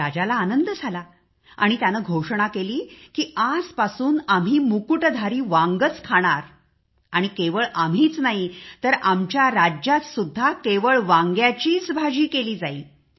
राजाला आनंद झाला आणि त्याने घोषणा केली की आजपासून आम्ही मुकुटधर वांगेच खाणार आणि आम्हीच नाही तर आमच्या राज्यात सुद्धा केवळ वांग्याची भाजी केली जाईल